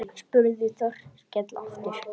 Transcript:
spurði Þórkell aftur.